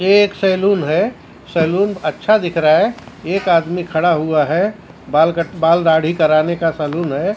ये एक सैलून है सैलून अच्छा दिख रहा है एक आदमी खड़ा हुआ है बाल क बाल दाढ़ी कराने का सैलून है सै--